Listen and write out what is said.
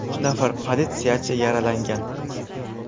Uch nafar politsiyachi yaralangan.